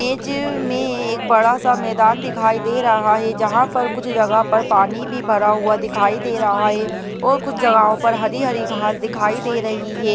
Image में एक बड़ा-सा मैदान दिखाई दे रहा है जहां पर कुछ जगह पर पानी भी भरा हुआ दिखाई दे रहा है और कुछ जगाहों पर हरी-हरी घास दिखाई दे रही है।